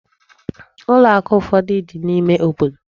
Ụlọ akụ ụfọdụ dị n'ime obodo.